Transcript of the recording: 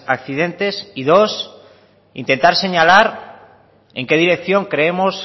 accidentes y dos intentar señalar en qué dirección creemos